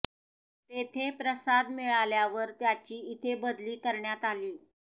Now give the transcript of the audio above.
तेथे प्रसाद मिळाल्यावर त्याची इथे बदली करण्यात आली